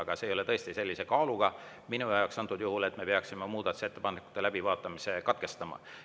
Aga see ei ole minu jaoks tõesti sellise kaaluga antud juhul, et me peaksime muudatusettepanekute läbivaatamise katkestama.